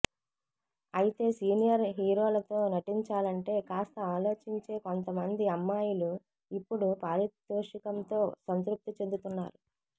అయితే సీనియర్ హీరోలతో నటించాలంటే కాస్త ఆలోచించే కొంత మంది అమ్మాయిలు ఇప్పుడు పారితోషికంతో సంతృప్తి చెందుతున్నారు